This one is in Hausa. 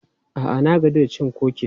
A'a, na gaji da cin kukis.